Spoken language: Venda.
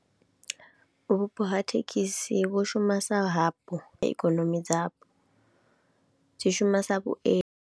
Vhupo ha thekhisi vhu shuma sa ha po ikonomi dzapo, dzi shuma sa vhuendi.